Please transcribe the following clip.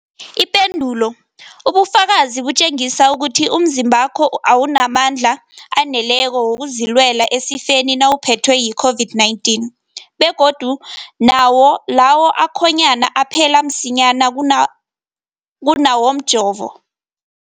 Ipendulo, ubufakazi butjengisa ukuthi umzimbakho awunamandla aneleko wokuzilwela esifeni nawuphethwe yi-COVID-19, begodu nawo lawo akhonyana aphela msinyana kuna kunawomjovo.